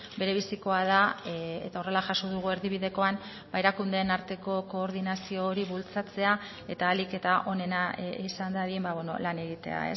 berebizikoa da eta horrela jaso dugu erdibidekoan erakundeen arteko koordinazio hori bultzatzea eta ahalik eta onena izan dadin lan egitea